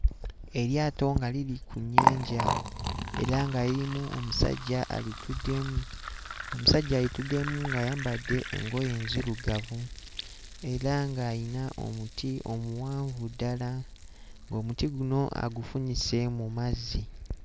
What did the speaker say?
Eryato nga liri ku nnyanja era nga lirimu omusajja alituddemu omusajja alituddemu ng'ayambadde engoye nzirugavu era ng'ayina omuti omuwanvu ddala ng'omuti guno agufunyise mu mazzi.